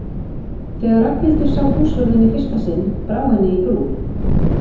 Þegar Ragnhildur sá húsvörðinn í fyrsta sinn brá henni í brún.